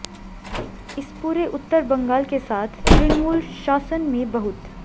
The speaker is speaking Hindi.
इस पूरे उत्तर बंगाल के साथ तृणमूल शासन में बहुत